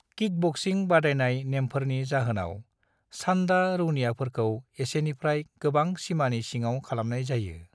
Kickboxing बादायनाय नेमफोरनि जाहोनाव, सान्डा रौनियाफोरखौ एसेनिफ्राय गोबां सिमानि सिङाव खालामनाय जायो।